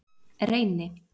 Reyni